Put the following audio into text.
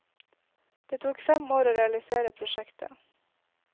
Det tok fem år å realisere prosjektet.